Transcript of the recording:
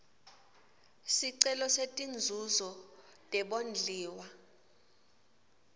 sicelo setinzuzo tebondliwa